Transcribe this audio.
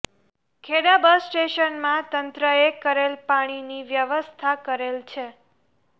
Kheda bus સ્ટેશનમાં તંત્રએ કરેલ પાણીની વ્યવસ્થા કરેલ છે